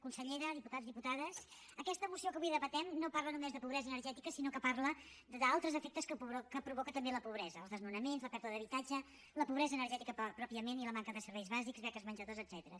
consellera diputats diputades aquesta moció que avui debatem no parla només de pobresa energètica sinó que parla d’altres efectes que provoca també la pobresa els desnonaments la pèrdua d’habitatge la pobresa energètica pròpiament i la manca de serveis bàsics beques menjador etcètera